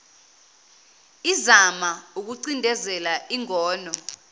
izama ukucindezela ingono